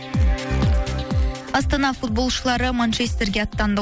астана футболшылары манчестерге аттанды